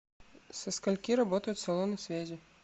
со скольки работают салоны связи